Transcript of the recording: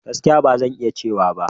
Gaskiya! Ba zan iya cewa ba.